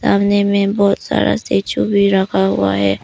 सामने में बहुत सारा स्टेच्यू भी रखा हुआ हैं।